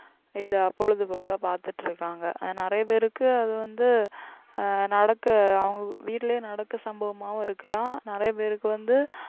இதை பொழுதுபோக்கா பார்த்துட்டு இருக்காங்க நிறைய பேருக்கு அது வந்து ஆஹ் நடக்க அவங்க வீட்டுலயே நடக்க சம்பவமாவும் இருக்கலாம் நிறைய பேருக்கு வந்து